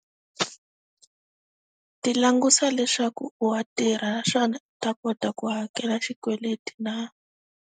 Ti langutisa leswaku wa tirha naswona, u ta kota ku hakela xikweleti na?